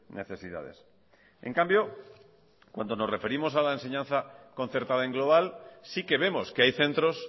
necesidades en cambio cuando nos referimos a la enseñanza concertada en global sí que vemos que hay centros